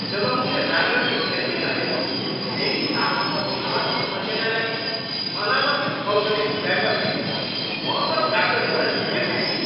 जब उनले राम्ररी हेर्दै नहेरी मेरी सासुको छालाको समस्याका लागि अनावश्यक औषधि सुझाएपछी म त डाक्टरसित निकै बिच्किएँ।